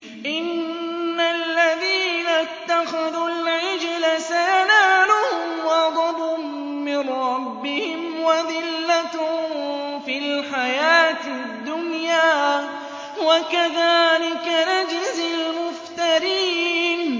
إِنَّ الَّذِينَ اتَّخَذُوا الْعِجْلَ سَيَنَالُهُمْ غَضَبٌ مِّن رَّبِّهِمْ وَذِلَّةٌ فِي الْحَيَاةِ الدُّنْيَا ۚ وَكَذَٰلِكَ نَجْزِي الْمُفْتَرِينَ